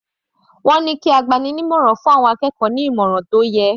Wọ́n ní kí agbani-ní-ìmọ̀ràn fún àwọn akẹ́kọ̀ọ́ ní ìmọ̀ràn tó yẹ.